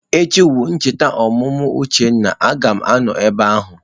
Echi wu ncheta ọmụmụ Uchenna, a ga m anọ ebe ahụ.